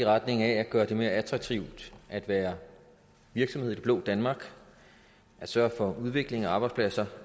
retning af at gøre det mere attraktivt at være virksomhed i det blå danmark at sørge for udvikling og arbejdspladser